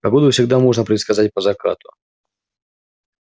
погоду всегда можно предсказать по закату